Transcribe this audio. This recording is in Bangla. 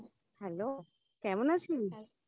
Hello কেমন আছিস